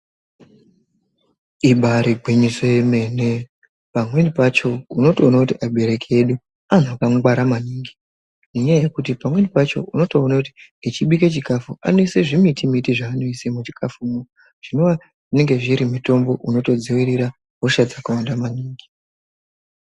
Ibari gwinyiso yemene. Pamweni pacho unotoona kuti abereki edu antu akangwara maningi. Ngenyaya yekuti pamweni pacho unotoona kuti echibike chikafu, anoise zvimiti miti zvavanoisa muchikafumo. Zvinowa zviri mitombo unotodzivirira hosha dzakawanda maningi.